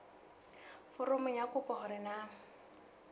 foromong ya kopo hore na